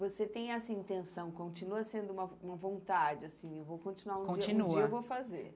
Você tem essa intenção, continua sendo uma uma vontade, assim, eu vou continuar continua um dia, um dia eu vou fazer.